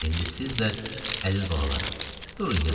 İndi siz də, əziz balalarım, durun yatın.